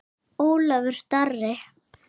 Ólafur Darri.